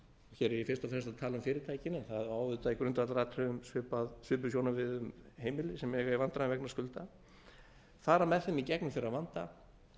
hér er ég fyrst og fremst að tala um fyrirtækin en það á í grundvallaratriðum svipuð sjónarmið við um heimili sem eiga í vandræðum vegna skulda fara með þeim í gegnum þeirra vanda